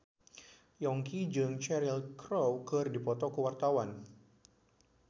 Yongki jeung Cheryl Crow keur dipoto ku wartawan